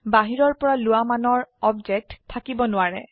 বাহিৰৰপৰা লোৱা মানৰ অবজেক্ট আপোনাৰ উচৰত থাকিব নোৱাৰে